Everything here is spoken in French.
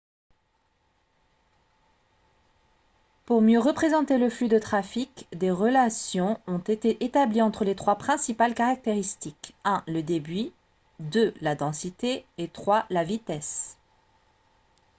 pour mieux représenter le flux de trafic des relations ont été établies entre les trois principales caractéristiques : 1 le débit 2 la densité et 3 la vitesse